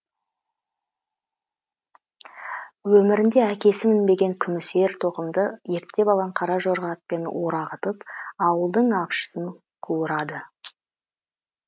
өмірінде әкесі мінбеген күміс ер тоқымды ерттеп алған қара жорға атпен орағытып ауылдың апшысын қуырады